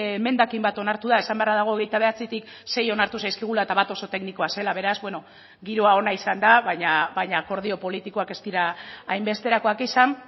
emendakin bat onartu da esan beharra dago hogeita bederatzitik sei onartu zaizkigula eta bat oso teknikoa zela beraz bueno giroa ona izan da baina akordio politikoak ez dira hainbesterakoak izan